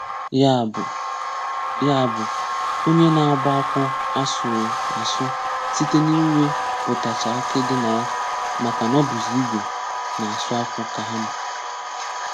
Ya bụ́, Ya bụ́, onye na-agba akwù àsụ̀rụ̀ asụ̀ site n’íwèpụ̀tàchá àkì dị n’áya, maka na ọ bụ̀zị̀ igwe na-asụ̀ akwù ka hà mà.